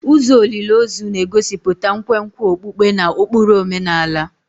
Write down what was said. Ụzọ olili ozu na-egosipụta nkwenkwe okpukpe na ụkpụrụ omenala.